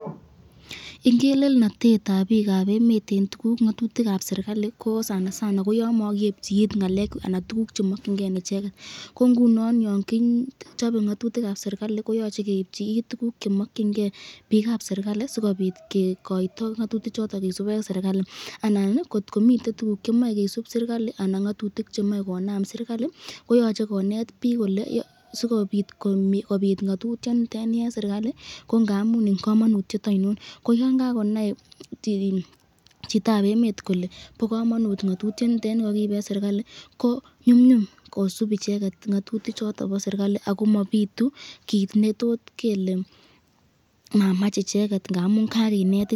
Ingelenotetab bikab emet eng ngatutikab serikalit ko sanasana ko yan makiebchi it ngalekab anan tukuk chemakyinike icheket, ko ngunon yan kichabe ngatutikab serikalit koyache keebchi it tukuk chemakyinike bikab serikalit, sikobit kikoito ngatutik choton kisub eng serikalit anan